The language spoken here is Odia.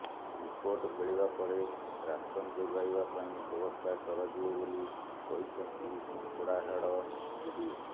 ରିପୋର୍ଟ ମିଳିବା ପରେ ରାସନ ଯୋଗାଇବା ପାଇଁ ବ୍ୟବସ୍ଥା କରାଯିବ ବୋଲି କହିଛନ୍ତି କଙ୍କଡ଼ାହାଡ଼ ବିଡିଓ